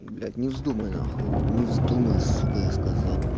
блять не вздумай нахуй не вздумай сука я сказал